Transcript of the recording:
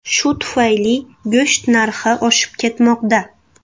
Shu tufayli go‘sht narxi oshib ketmoqda.